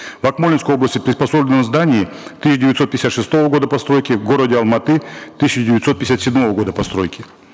в акмолинской области приспособлено здание тысяча девятьсот пятьдесят шестого года постройки в городе алматы тысяча девятьсот пятьдесят седьмого года постройки